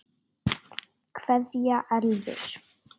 Kveðja Elfur.